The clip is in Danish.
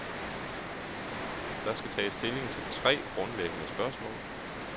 Der skal tages stilling til tre grundlæggende spørgsmål.